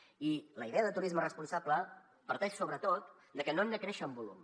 i la idea de turisme responsable parteix sobretot de que no hem de créixer en volum